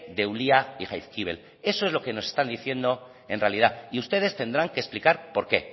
de ulia y jaizkibel eso es lo que nos están diciendo en realidad y ustedes tendrán que explicar por qué